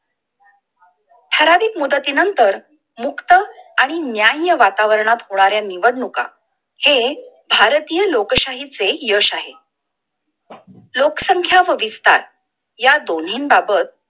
फरारीक मुदती नंतर मुक्त आणि न्यायीय वातावरणात होण्याऱ्या निवडणुका हे भारतीय लोकशाही चे यश आहे! लोकसंख्या व विस्तार या दोनी बाबत